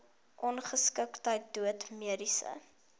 ongeskiktheid dood mediese